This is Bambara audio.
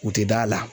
U tɛ da la